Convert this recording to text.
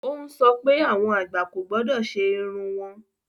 O ń sọ pé awọn agbá kò gbọdọ̀ sẹ irùn wọn.